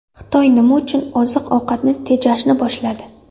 Xitoy nima uchun oziq-ovqatni tejashni boshladi?